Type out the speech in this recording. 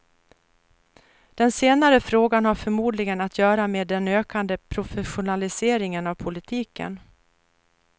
Den senare frågan har förmodligen att göra med den ökande professionaliseringen av politiken.